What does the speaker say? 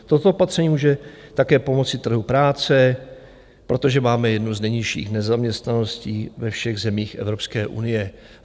Toto opatření může také pomoci trhu práce, protože máme jednu z nejnižších nezaměstnaností ve všech zemích Evropské unie.